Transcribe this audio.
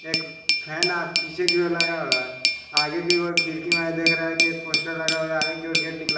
एक फैना पीछे की ओर लगा हुआ हैं आगे की ओर खिड़की में देख रहा है कि एक पोस्टर लगा हुआ आगे ओर गेट निकला--